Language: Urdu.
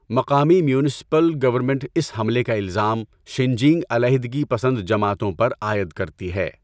مقامی میونسپل گورنمنٹ اس حملے کا الزام 'شِنجینگ علیحدگی پسند جماعتوں' پر عائد کرتی ہے۔